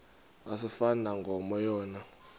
asifani nankomo yona